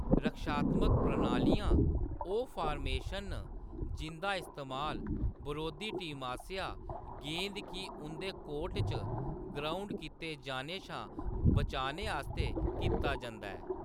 रक्षात्मक प्रणालियाँ ओह्‌‌ फार्मेशन न जिंʼदा इस्तेमाल बरोधी टीम आसेआ गेंद गी उंʼदे कोर्ट च ग्राउंड कीते जाने शा बचाने आस्तै कीता जंदा ऐ।